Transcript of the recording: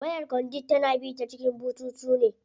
Wayar conduit tana bi ta cikin bututu ne.